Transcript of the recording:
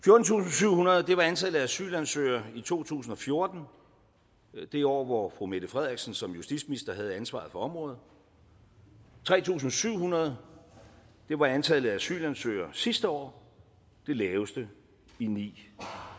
syvhundrede var antallet af asylansøgere i to tusind og fjorten det år hvor fru mette frederiksen som justitsminister havde ansvaret for området og tre tusind syv hundrede var antallet af asylansøgere sidste år det laveste i ni